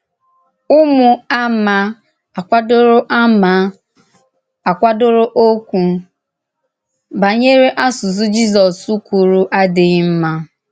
Ụ́mụ̀ àmà àkwàdòrò àmà àkwàdòrò òkwú bànyèrè àsụsụ̀ Jisọ́s kwùrù àdíghì mma.